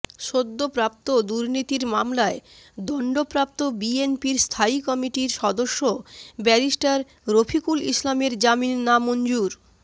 সদ্যপ্রাপ্তদুর্নীতির মামলায় দণ্ডপ্রাপ্ত বিএনপির স্থায়ী কমিটির সদস্য ব্যারিস্টার রফিকুল ইসলামের জামিন নামঞ্জুর